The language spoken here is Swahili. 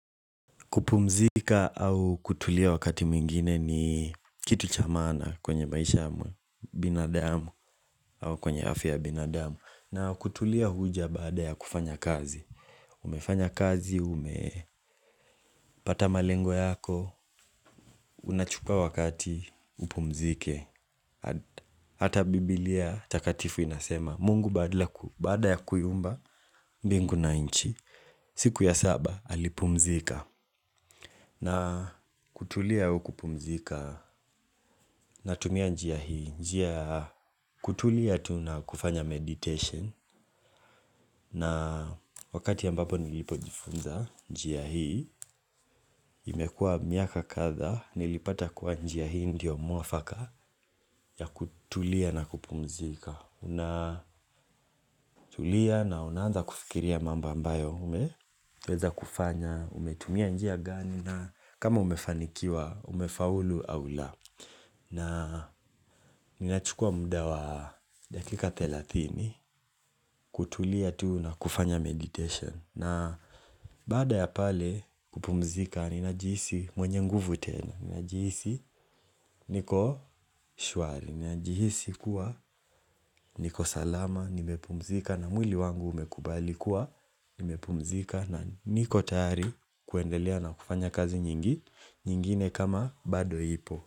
Kupumzika au kutulia wakati mwingine ni kitu cha maana kwenye maisha ya binadamu au kwenye afia ya binadamu na kutulia huja baada ya kufanya kazi. Umefanya kazi, umepata malengo yako, unachukua wakati upumzike. Hata biblia takatifu inasema, mungu baada ya kuiumba, mbingu na inchi. Siku ya saba, alipumzika. Na kutulia au kupumzika natumia njia hii. Njia ya kutulia tu na kufanya meditation. Na wakati ambapo nilipojifunza njia hii, imekua miaka kadhaa nilipata kuwa njia hii ndio muafaka ya kutulia na kupumzika. Tulia na unaanza kufikiria mambo ambayo umeweza kufanya. Umetumia njia gani na kama umefanikiwa umefaulu au la na ninachukua muda wa dakika thelathini kutulia tu na kufanya meditation na baada ya pale kupumzika ninajihisi mwenye nguvu tena. Ninajihisi niko shwari. Ninajihisi kuwa niko salama nimepumzika na mwili wangu umekubali kuwa nimepumzika na niko tayari kuendelea na kufanya kazi nyingine kama bado ipo.